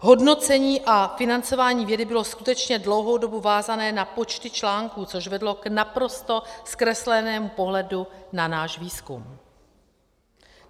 Hodnocení a financování vědy bylo skutečně dlouhou dobu vázané na počty článků, což vedlo k naprosto zkreslenému pohledu na náš výzkum.